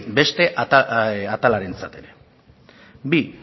beste atalarentzat ere bi